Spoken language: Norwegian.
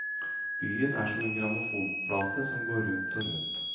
Byen er som en grammofonplate som går rundt og rundt.